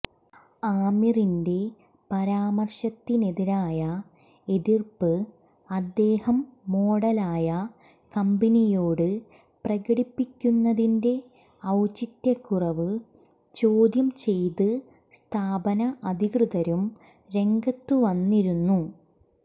ആമിറിന്െറ പരാമര്ശത്തിനെതിരായ എതിര്പ്പ് അദ്ദേഹം മോഡലായ കമ്പനിയോട് പ്രകടിപ്പിക്കുന്നതിന്െറ ഒൌചിത്യക്കുറവ് ചോദ്യം ചെയ്ത് സ്ഥാപന അധികൃതരും രംഗത്തുവന്നിരുന്നു